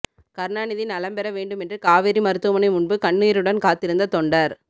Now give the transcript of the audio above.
கருணாநிதி நலம்பெற வேண்டுமென்று காவேரி மருத்துவமனை முன்பு கண்ணீருடன் காத்திருந்த தொண்டர்